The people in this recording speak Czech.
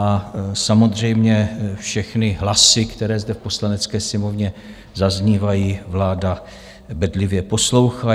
A samozřejmě všechny hlasy, které zde v Poslanecké sněmovně zaznívají, vláda bedlivě poslouchá.